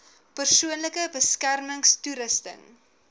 persoonlike beskermings toerusting